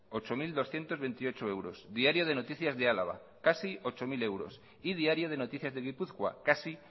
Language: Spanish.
ocho mil doscientos veintiocho euros diario de noticias de álava casi ocho mil euros y diario de noticias de gipuzkoa casi